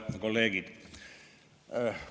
Head kolleegid!